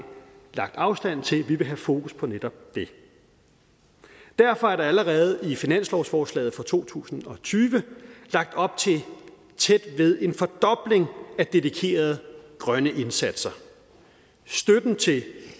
lagt afstand til vi vil have fokus på netop det derfor er der allerede i finanslovsforslaget for to tusind og tyve lagt op til tæt ved en fordobling af dedikerede grønne indsatser støtten til